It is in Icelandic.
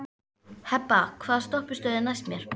Hebba, hvaða stoppistöð er næst mér?